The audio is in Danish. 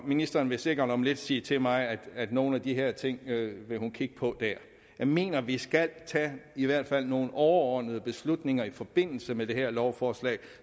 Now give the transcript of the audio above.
ministeren vil sikkert om lidt sige til mig at nogle af de her ting vil hun kigge på dér jeg mener at vi skal tage i hvert fald nogle overordnede beslutninger i forbindelse med det her lovforslag